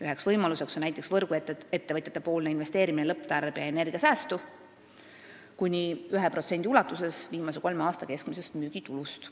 Üks võimalus oleks, kui võrguettevõtjad investeeriksid lõpptarbija energiasäästu kuni 1% viimase kolme aasta keskmisest müügitulust.